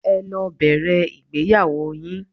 Ẹ lọ bẹ̀rẹ̀ ìgbéyàwó yín.